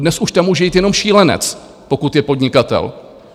Dnes už tam může jít jenom šílenec, pokud je podnikatel.